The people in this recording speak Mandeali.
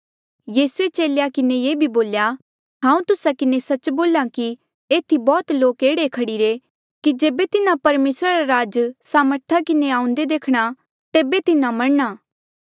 यीसूए चेलेया किन्हें ये भी बोल्या हांऊँ तुस्सा किन्हें सच्च बोल्हा कि एथी बौह्त लोक एह्ड़े खड़ीरे कि जेबे तिन्हा परमेसरा रा राज सामर्था किन्हें आऊंदा देखणा तेबे तिन्हा मरणा